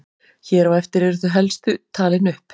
Hér á eftir eru þau helstu talin upp.